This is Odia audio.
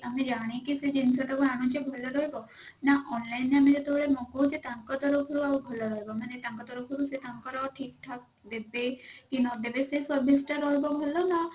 ଆମେ ଜାଣିକି ସେ ଜିନିଷ ଟାକୁ ଭଲ ରହିବ ନା online ଯେମିତି ଯେତେବେଳେ କରୁଛେ ତାଙ୍କ ତରଫ ରୁ ଆଉ ଭଲ ରହିବ ମାନେ ତାଙ୍କ ତରଫ ରୁ ସେ ତାଙ୍କର ଠିକ ଠାକ ଦେବେ କି ନ ଦେବେ ସେ service ଟା ରହିବ ଭଲ ନା